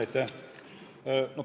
Aitäh!